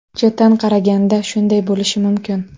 Chetdan qaraganda shunday bo‘lishi mumkin.